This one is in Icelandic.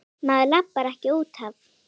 Maður labbar ekkert út af.